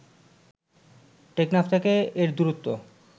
টেকনাফ থেকে এর দূরত্ব